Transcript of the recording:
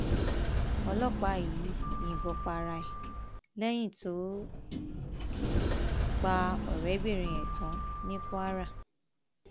mo ti gbáradì um gidigidi láti dojú ìjà kọ àwọn um ọtá orílẹèdè yìíọgá ọlọpàá tuntun